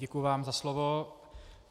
Děkuji vám za slovo.